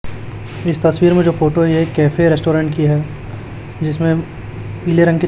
इस तस्वीर में जो फोटो है ये कैफे रेस्टोरेंट की है जिसमें पीले रंग के--